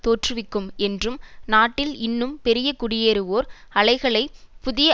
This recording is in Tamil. தோற்றுவிக்கும் என்றும் நாட்டில் இன்னும் பெரிய குடியேறுவோர் அலைகளை புதிய